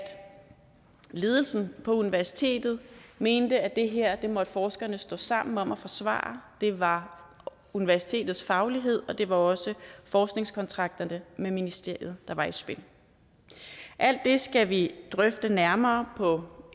ledelsen på universitetet mente at det her måtte forskerne stå sammen om at forsvare det var universitetets faglighed og det var også forskningskontrakterne med ministeriet der var i spil alt det skal vi drøfte nærmere på